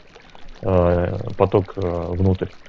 ээ поток внутрь